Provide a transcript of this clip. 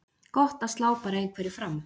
Gott að slá bara einhverju fram.